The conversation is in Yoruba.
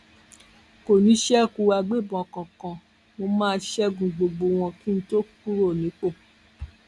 kò ní í ṣekú agbébọn kankan mo má a ṣẹgun gbogbo wọn kí n tóó kúrò nípò